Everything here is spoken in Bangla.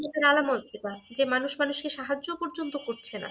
কেয়ামতের আলামত এটা। যে মানুষ মানুষকে সাহায্যও পর্যন্ত করছে না।